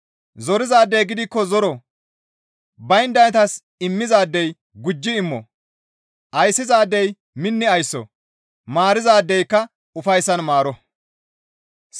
Zorizaadey gidikko zoro; bayndaytas immizaadey gujji immo; ayssizaadey minni aysso; maarizaadeyka ufayssan maaro.